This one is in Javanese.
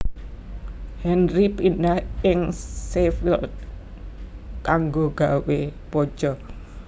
Henry pindah ing Sheffield kanggo gawé baja